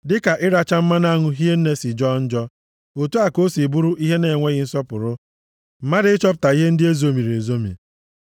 Dịka ịracha mmanụ aṅụ hie nne si jọọ njọ, otu a ka o si bụrụ ihe na-enweghị nsọpụrụ, mmadụ ịchọpụta ihe ndị ezomiri ezomi.